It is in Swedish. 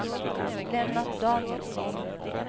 Lennart Danielsson